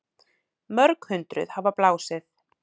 Mörg hundruð hafa blásið